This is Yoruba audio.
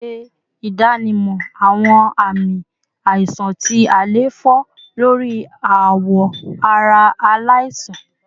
Ṣe idanimọ awọn aami aisan ti àléfọ lori awọ ara alaisan